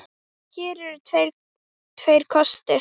Hér eru því tveir kostir